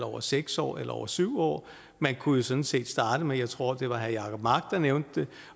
over seks år eller over syv år man kunne jo sådan set starte med jeg tror det var herre jacob mark der nævnte det